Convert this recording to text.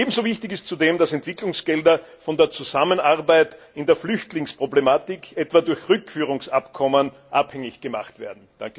Ebenso wichtig ist zudem, dass Entwicklungsgelder von der Zusammenarbeit in der Flüchtlingsproblematik etwa durch Rückführungsabkommen abhängig gemacht werden.